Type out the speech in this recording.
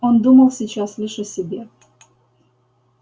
он думал сейчас лишь о себе